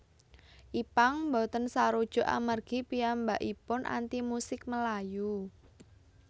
Ipank boten sarujuk amargi piyambakaipun anti musik melayu